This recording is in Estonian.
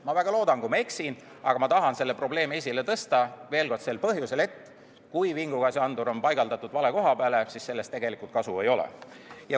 Ma väga loodan, et ma eksin, aga ma tahan selle probleemi esile tõsta veel kord sel põhjusel, et kui vingugaasiandur on paigaldatud vale koha peale, siis sellest tegelikult kasu ei ole.